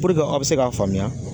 Puruke aw bɛ se k'a faamuya.